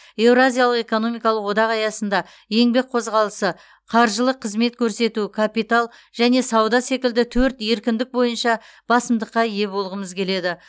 еуразиялық экономикалық одақ аясында еңбек қозғалысы қаржылық қызмет көрсету капитал және сауда секілді төрт еркіндік бойынша басымдыққа ие болғымыз келеді